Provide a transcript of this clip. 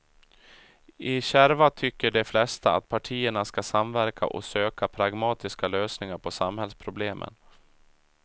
I kärva tycker de flesta att partierna ska samverka och söka pragmatiska lösningar på samhällsproblemen.